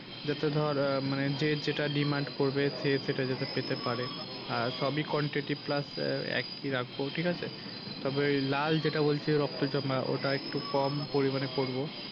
যাতে ধর আহ মানে যে যেটা demand করবে সে সেটা যাতে পেতে পারে আর সবই quantity plus আহ একই রাখবো ঠিক আছে। তারপরে লাল যেটা বলছি রক্ত জবা ওটা একটু কম পরিমান করবো।